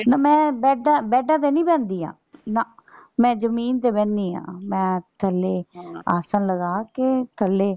ਤੇ ਮੈਂ ਬੈਡਾਂ ਬੈਡਾਂ ਤੇ ਨਹੀਂ ਬਹਿੰਦੀ ਆਂ ਨਾ ਮੈਂ ਜਮੀਨ ਤੇ ਬਹਿਣੀ ਆਂ ਮੈਂ ਥੱਲੇ ਆਸਨ ਲਗਾ ਕੇ ਥੱਲੇ।